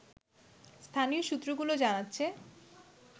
স্থানীয় সূত্রগুলো জানাচ্ছে